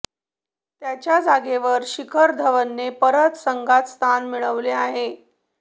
त्याच्या जागेवर शिखर धवनने परत संघात स्थान मिळवले आहे